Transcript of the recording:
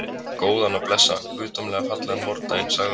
Góðan og blessaðan, guðdómlega fallegan vordaginn, sagði hún.